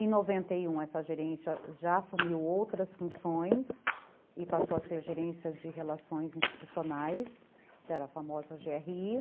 Em noventa e um essa gerência já assumiu outras funções e passou a ser gerência de relações institucionais, que era a famosa gê erre i